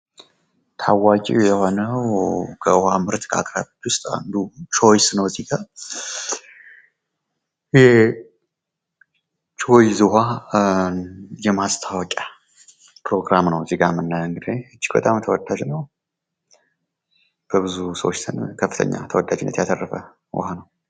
ታዋቂ ከሆነው ከዉሃ ምርት አቅራቢ ከሆነው አንዱ ቾይስ ነው። ከዚህ ጋ። ይህ የቾይስ ውሀ የማስታወቂያ ፕሮግራም ነው ከዚህ ጋ የምናየው እንግዲህ። በጣም ተወዳጅ ነው። በብዙ ሰዎች ከፍተኛ ተወዳጅነትን ያተረፈ ውሃ ነው።